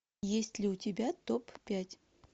есть ли у тебя топ пять